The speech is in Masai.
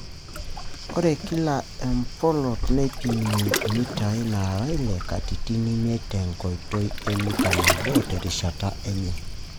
Ore kila emplot neipimi mitaai naara ile katitin imiet te nkoitoi e Mita nabo terishata enye.